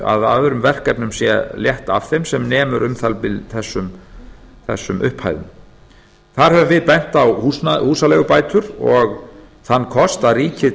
að öðrum verkefnum sé létt af þeim sem nemur um það bil þessum upphæðum þar höfum við bent á húsaleigubætur og þann kost að ríkið